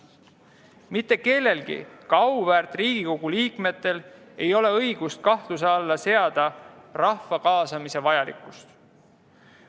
Mitte kellelgi, ka auväärt Riigikogu liikmetel, ei ole õigust kahtluse alla seada rahva kaasamise vajalikkust.